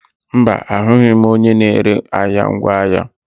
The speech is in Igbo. Mba, ahụghị m onye na-ere ahịa ngwaahịa.